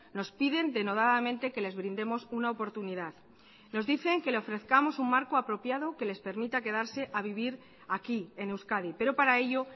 nos piden denodadamente que les brindemos una oportunidad nos dicen que le ofrezcamos un marco apropiado que les permita quedarse a vivir aquí en euskadi pero para ello